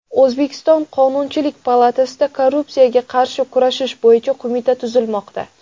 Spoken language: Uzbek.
O‘zbekiston Qonunchilik palatasida Korrupsiyaga qarshi kurashish bo‘yicha qo‘mita tuzilmoqda.